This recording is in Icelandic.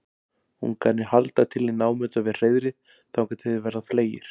ungarnir halda til í námunda við hreiðrið þangað til þeir verða fleygir